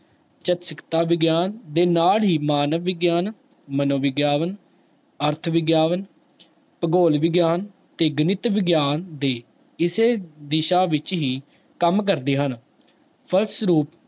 ਚਕਿਤਸਾ ਵਿਗਿਆਨ ਦੇ ਨਾਲ ਹੀ ਮਾਨਵ ਵਿਗਿਆਨ, ਮਨੋਵਿਗਿਆਨ, ਅਰਥ ਵਿਗਿਆਨ ਭਗੋਲ ਵਿਗਿਆਨ ਤੇ ਗਣਿਤ ਵਿਗਿਆਨ ਦੇ ਇਸੇ ਦਿਸ਼ਾ ਵਿੱਚ ਹੀ ਕੰਮ ਕਰਦੇ ਹਨ, ਫਲਸਰੂਪ